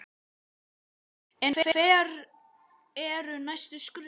En hver eru næstu skref?